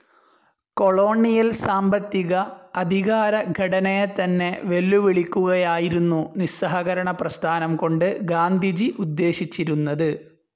Colonial സാമ്പത്തിക, അധികാര ഘടനയെതന്നെ വെല്ലുവിളിക്കുകയായിരുന്നു നിസ്സഹകരണപ്രസ്ഥാനം കൊണ്ട് ഗാന്ധിജി ഉദ്ദേശിച്ചിരുന്നത്.